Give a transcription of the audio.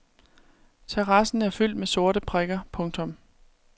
Terrassen er fyldt med sorte prikker. punktum